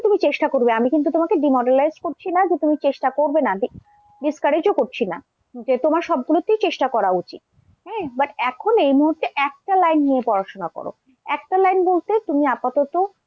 তুমি চেষ্টা করবে আমি কিন্তু তোমাকে demoralize করছি না যে তুমি চেষ্টা করবে না di~discourage ও করছি না, যে তোমার সবগুলোতেই চেষ্টা করা উচিত হ্যাঁ but এখন এই মুহূর্তে একটা line নিয়ে পড়াশোনা করো। একটা line বলতে তুমি আপাতত,